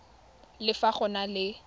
le fa go na le